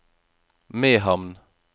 Mehamn